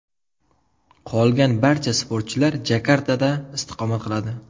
Qolgan barcha sportchilar Jakartada istiqomat qiladi.